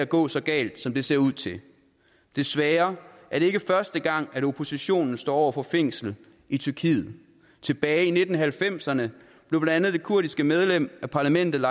går så galt som det ser ud til desværre er det ikke første gang at oppositionen står over for fængsel i tyrkiet tilbage i nitten halvfemserne blev blandt andet det kurdiske medlem af parlamentet